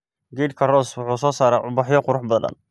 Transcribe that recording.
Geedka rose wuxuu soo saaraa ubaxyo qurux badan.